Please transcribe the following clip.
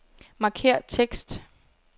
Markér tekst.